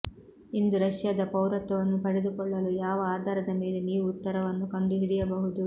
ಇಂದು ರಷ್ಯಾದ ಪೌರತ್ವವನ್ನು ಪಡೆದುಕೊಳ್ಳಲು ಯಾವ ಆಧಾರದ ಮೇಲೆ ನೀವು ಉತ್ತರವನ್ನು ಕಂಡುಹಿಡಿಯಬಹುದು